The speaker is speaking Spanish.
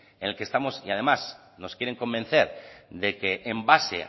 en el que estamos y además nos quieren convencer de que en base